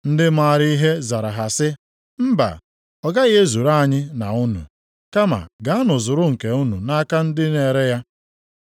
“Ndị maara ihe zara ha sị, ‘Mba! Ọ gaghị ezuru anyị na unu. Kama gaanụ zuru nke unu nʼaka ndị na-ere ya.’